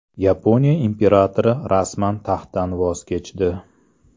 Yaponiya imperatori rasman taxtdan voz kechdi.